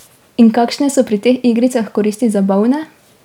In kakšne so pri teh igricah koristi za bolne?